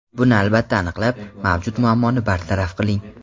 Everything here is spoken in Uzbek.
Buni albatta aniqlab, mavjud muammoni bartaraf qiling.